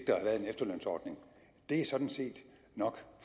efterlønsordning det er sådan set nok